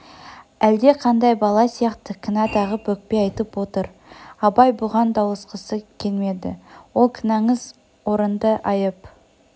әлде қандай бала сияқты кінә тағып өкпе айтып отыр абай бұған дауласқысы келмеді ол кінәңіз орынды айып